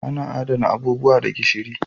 Ana Adana abubuwa da gishiri.